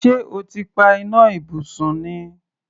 Ṣé o ti pa iná ibùsùn ni?